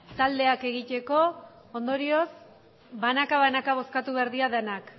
taldeak egiteko ondorioz banaka banaka bozkatu behar dira denak